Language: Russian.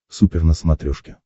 супер на смотрешке